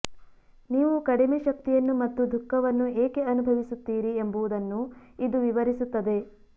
ನೀವು ಕಡಿಮೆ ಶಕ್ತಿಯನ್ನು ಮತ್ತು ದುಃಖವನ್ನು ಏಕೆ ಅನುಭವಿಸುತ್ತೀರಿ ಎಂಬುದನ್ನು ಇದು ವಿವರಿಸುತ್ತದೆ